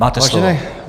Máte slovo.